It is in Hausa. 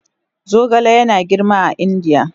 Zogale yana girma a Indiya